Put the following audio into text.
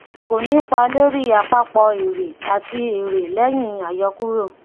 kò nípá lóri àpapọ èrè àti èrè lẹyìn àyọkúrò